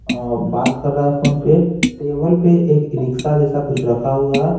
अ बात कर रहा है फोन पे टेबल पे एक रिक्शा जैसा कुछ रखा हुआ है।